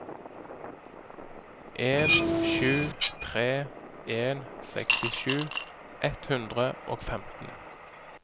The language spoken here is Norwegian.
en sju tre en sekstisju ett hundre og femten